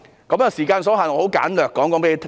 由於時間所限，我簡略向大家交代。